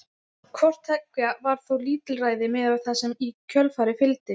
Hvort tveggja var þó lítilræði miðað við það sem í kjölfarið fylgdi.